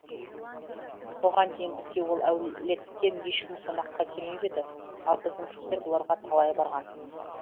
бұған дейін бізге ол әулеттен ешкім қонаққа қелмеп еді ал біздің кісілер бұларға талай барған